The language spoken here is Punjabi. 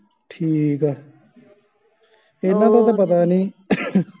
ਠੀਕ ਆ ਇਹਨਾਂ ਦਾ ਤਾ ਪਤਾ ਨਹੀਂ